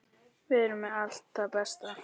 Við erum með allt það besta.